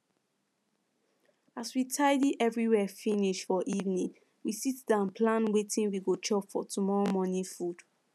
as we tidy everywhere finish for evening we sit down plan wetin we go chop for tomorrow morning food